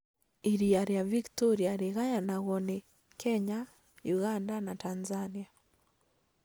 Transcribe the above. Iria rĩa Victoria rĩgayanagwo nĩ Kenya Uganda na Tanzania